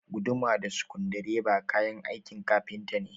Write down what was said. Guduma da sukudireba kayan aikin kafinta ne